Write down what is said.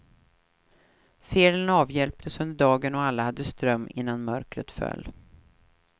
Felen avhjälptes under dagen och alla hade ström innan mörkret föll.